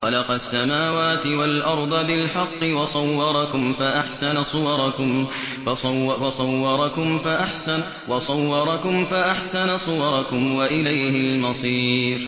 خَلَقَ السَّمَاوَاتِ وَالْأَرْضَ بِالْحَقِّ وَصَوَّرَكُمْ فَأَحْسَنَ صُوَرَكُمْ ۖ وَإِلَيْهِ الْمَصِيرُ